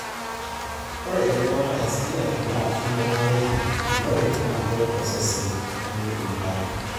ore erubata e skeleton na kibungare iloik na keret osesen meiguta.